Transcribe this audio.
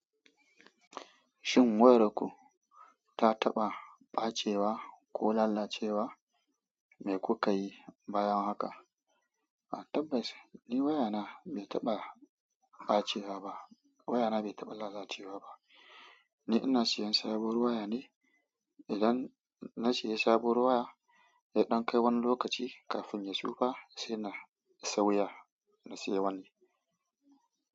Shin wayar ku ta taɓa ɓacewa ko lalacewa mai kuka yi bayan haka? A tabbas, ni wayana bai taɓa ɓacewa ba. Waya na bai taɓa lalacewa ba. Ni ina sayan sabuwar waya ne. Idan na sayi sabuwar waya, ya ɗan kai wani lokaci, kafin ya tsufa sai na sauya, na sayi wani.